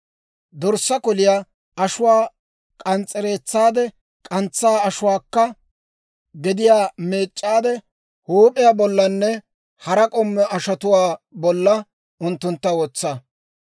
Dorssaa koliyaa ashuwaa k'ans's'ereetsaade, k'antsaa ashuwaakka gediyaa meec'c'aade huup'iyaa bollanne hara k'ommo ashotuwaa bolla unttuntta wotsa;